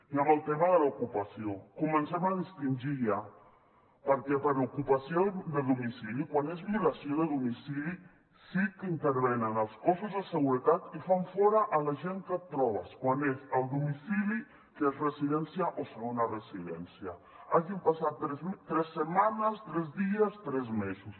i amb el tema de l’ocupació comencem a distingir ja perquè per ocupació de domicili quan és violació de domicili sí que intervenen els cossos de seguretat i fan fora la gent que et trobes quan és el domicili que és residència o segona residència hagin passat tres setmanes tres dies tres mesos